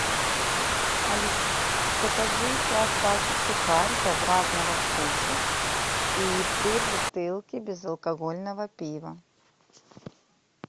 алиса закажи пять пачек сухариков разного вкуса и три бутылки безалкогольного пива